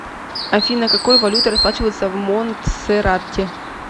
афина какой валютой расплачиваются в монтсеррате